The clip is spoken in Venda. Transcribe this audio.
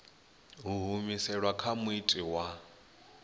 ḓo humiselwa kha muiti wa